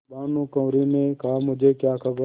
भानुकुँवरि ने कहामुझे क्या खबर